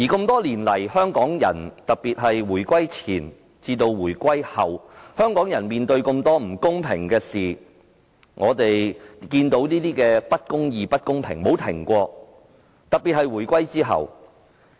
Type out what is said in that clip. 多年來，特別是回歸前後，香港人面對很多不公平的事，不公義和不公平的事情從未間斷，特別是在回歸後。